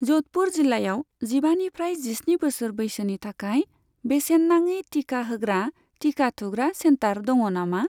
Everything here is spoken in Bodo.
ज'धपुर जिल्लायाव जिबानिफ्राय जिस्नि बोसोर बैसोनि थाखाय बेसेन नाङि थिखा होग्रा थिखा थुग्रा सेन्टार दङ नामा?